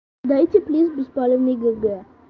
дайте плиз беспалевный г г